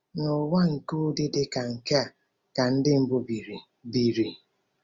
N’ụwa nke ụdị dị ka nke a ka Ndị mbụ biri? biri?